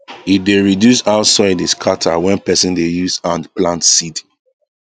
e dey reduce how soil dey scatter when person dey use hand plant seed